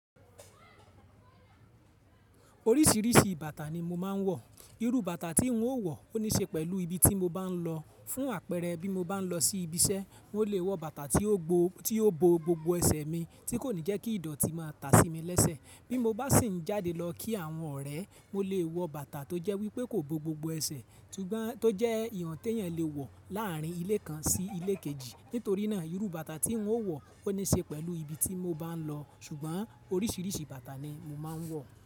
Oríṣìíríṣìí bàtà ni mo máa ń wọ̀. Irú bàtà tí n ó wọ̀ ó ní ṣe pẹ̀lú ibi tí mo bá n lọ. Fún àpẹẹrẹ bí mo bá n lọ sí ibi iṣẹ́, mo lè wọ bàtà tí ó bo gbogbo ẹsẹ̀ mi tí kò ní jẹ́ kí ìdọ̀tí máa ta sí mi lẹ́sẹ̀. Bí mo bá sì ń jáde lọ kí àwọn ọ̀rẹ́, mo lè wọ bàtà tó jẹ́ wípé kò bo gbogbo ẹsẹ̀, tó jẹ́ ìwon téèyàn lè wọ̀ láàrín ilé kan sí ilé kejì. Nítorí náà irú bàtà tí ń ó wọ̀ ó ní ṣe pẹ̀lú ibi tí mo bá n lọ. Ṣùgbọ́n oríṣìíríṣìí bàtà ni mo máa ń wọ̀